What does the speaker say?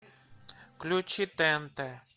включи тнт